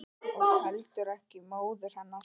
Og heldur ekki móður hennar.